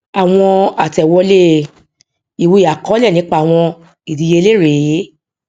àwọn àtẹwọlé ìwé àkọọlẹ nípa àwọn ìdíyelé rèé